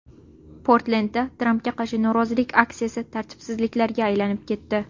Portlendda Trampga qarshi norozilik aksiyasi tartibsizliklarga aylanib ketdi.